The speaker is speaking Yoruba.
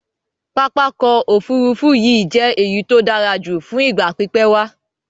Pápákọ̀ òfurufú yìí je èyí to dárajù fún ìgbà pípé wá